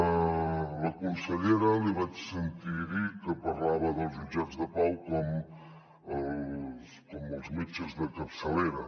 a la consellera li vaig sentir dir que parlava dels jutjats de pau com els metges de capçalera